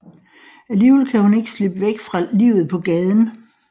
Alligevel kan hun ikke slippe væk fra livet på gaden